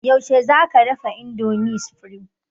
Yaushe za ka dafa indomie supreme?